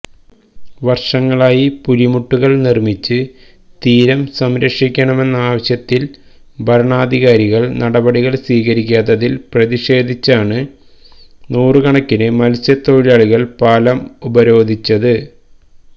വര്ഷങ്ങളായി പുലിമുട്ടുകള് നിര്മ്മിച്ച് തീരം സംരക്ഷിക്കണമെന്നാവശ്യത്തില് ഭരണാധികാരികള് നടപടികള് സ്വീകരിക്കാത്തതില് പ്രതിഷേധിച്ചാണ് നൂറുകണക്കിന് മത്സ്യത്തൊഴിലാളികള് പാലം ഉപരോധിച്ചത്